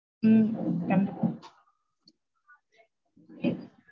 ஹம் கண்டிப்பா.